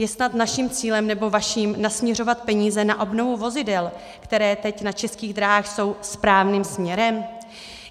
Je snad naším cílem, nebo vaším, nasměřovat peníze na obnovu vozidel, která teď na Českých drahách jsou, správným směrem?